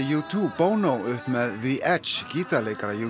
u tveggja Bono upp með the Edge gítarleikara